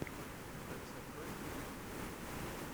алиса открой ютуб